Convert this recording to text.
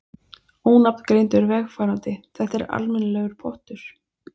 Ónafngreindur vegfarandi: Þetta er almennilegur pottur?